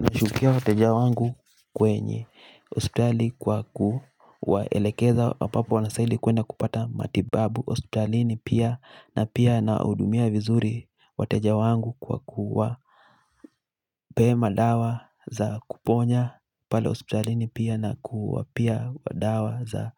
Nashukia wateja wangu kwenye. Hospitali kwa kuwaelekeza ambapo wanastahili kwenda kupata matibabu. Hospitali ni pia na pia nawahudumia vizuri wateja wangu kwa kuwapea madawa za kuponya. Pale hospitalini pia na kuwapea dawa za